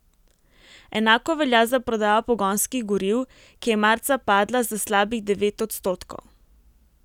Enako velja za prodajo pogonskih goriv, ki je marca padla za slabih devet odstotkov.